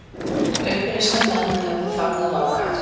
Uppreisnarmenn hefðu fagnað ákaft